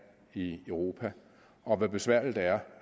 i europa og om hvor besværligt det er